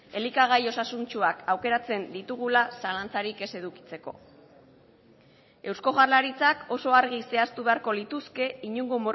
elikagai osasuntsuak aukeratzen ditugula zalantzarik ez edukitzeko eusko jaurlaritzak oso argi zehaztu beharko lituzke inongo